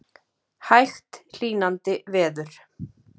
Hægt hlýnandi veður